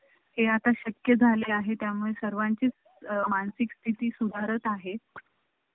हे आता शक्य झाले आहे त्यामुळे सर्वांची मानसिकस्थिति सुधारत आहे